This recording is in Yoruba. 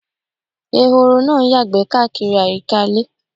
Ẹ̀họ̀rọ̀ náá ǹ yàgbé kàkírí ayíká ilẹ̀.